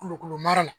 Kulokolo mara la